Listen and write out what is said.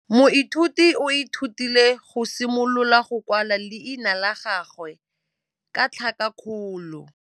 Moithuti o ithutile go simolola go kwala leina la gagwe ka tlhakakgolo.